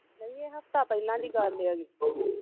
ਨਹੀਂ ਇਹ ਹਫਤਾ ਪਹਿਲਾਂ ਦੀ ਗੱਲ ਆ